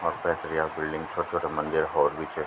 अफ पैथर याक बिल्डिंग छोट छोटा मंदिर हौर भी चे।